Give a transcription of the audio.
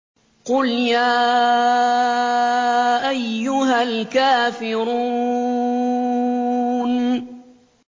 قُلْ يَا أَيُّهَا الْكَافِرُونَ